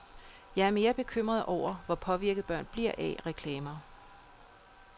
Jeg er mere bekymret over, hvor påvirket børn bliver af reklamer.